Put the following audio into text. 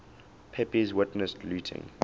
pepys witnessed looting